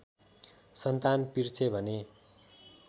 सन्तान पिर्छे भने